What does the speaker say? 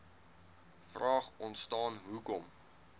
vraag ontstaan hoekom